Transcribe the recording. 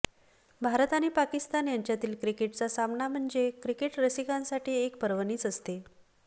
भारत आणि पाकिस्तान यांच्यातील क्रिकेटचा सामना म्हणजे क्रिकेट रसिकांसाठी एक पर्वणीच असते